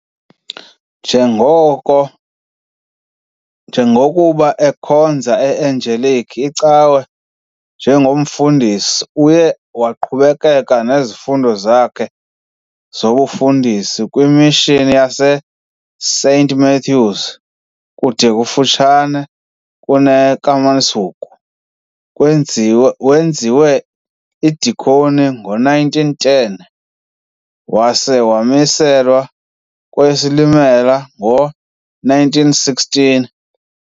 Njengoko njengokuba ekhonza eAngelic icawe njengomfundisi, uye waqhubekeka ngezifundo zakhe zobufundisi kwi mishini yase Saint Matthews kude kufutshane kuneKeiskamahoek, kwenziwe wenziwa idikoni ngo-1910 wase wamiselwa kweyeSilimela ngo-1916.